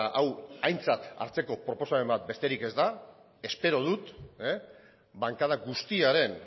hau aintzat hartzeko proposamen bat besterik ez da espero dut bankada guztiaren